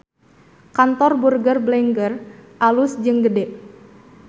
Kantor Burger Blenger alus jeung gede